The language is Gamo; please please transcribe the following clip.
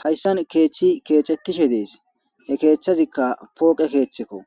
Hayssan keechchi keecettishe dees he keechthazikka pooqe keeththekko